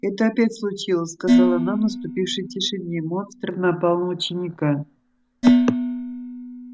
это опять случилось сказала она в наступившей тишине монстр напал на ученика